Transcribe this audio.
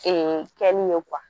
Ee kɛli ye